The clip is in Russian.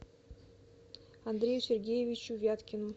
андрею сергеевичу вяткину